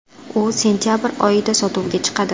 U sentabr oxirida sotuvga chiqadi.